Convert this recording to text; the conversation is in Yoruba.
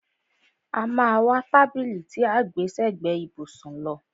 A má a wá tábìlì tí à ń gbẹ́ sẹ́gbẹ ìbùsùn lọ.